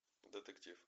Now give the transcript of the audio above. детектив